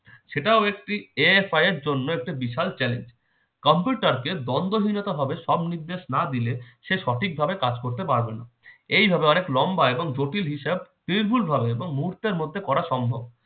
সেটাও একটি AFI এর জন্য একটা বিশাল challenge কম্পিউটারকে দন্ডহীনতা হবে সব নির্দেশ না দিলে সে সঠিকভাবে কাজ করতে পারবে না এইভাবে অনেক লম্বা এবং জটিল হিসাব নির্ভুলভাবে এবং মুহূর্তের মধ্যে করা সম্ভব